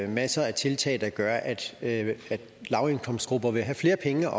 masser af tiltag der gør at lavindkomstgrupper vil have flere penge